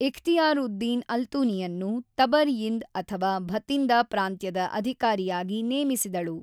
ಇಖ್ತಿಯಾರ್ ಉದ್ ದೀನ್ ಅಲ್ತೂನಿಯನ್ನು ತಬರ್ ಯಿಂದ್ ಅಥವಾ ಭತಿಂದ ಪ್ರಾಂತ್ಯದ ಅಧಿಕಾರಿಯಾಗಿ ನೇಮಿಸಿದಳು.